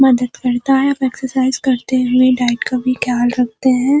मदद करता है एक्सासाइज करते हुए डाइट का भी ख्याल रखते हैं।